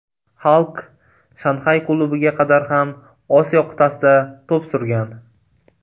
Xalk Shanxay klubiga qadar ham Osiyo qit’asida to‘p surgan.